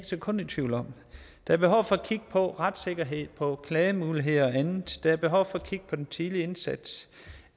sekund i tvivl om der er behov for at kigge på retssikkerhed og klagemuligheder og andet der er behov for at kigge på den tidlige indsats